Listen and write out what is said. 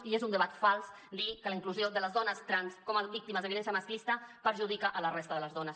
i és un debat fals dir que la inclusió de les dones trans com a víctimes de violència masclista perjudica la resta de les dones